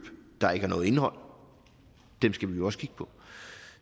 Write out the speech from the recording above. der ikke har noget indhold dem skal vi også kigge på